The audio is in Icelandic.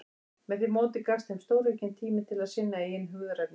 Með því móti gafst þeim stóraukinn tími til að sinna eigin hugðarefnum.